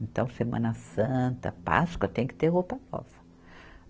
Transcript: Então, Semana Santa, Páscoa, tem que ter roupa nova.